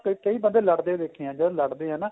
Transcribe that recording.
ਕਈ ਬੰਦੇ ਲੜਦੇ ਦੇਖੇ ਏ ਜਦ ਲੜਦੇ ਏ ਨਾ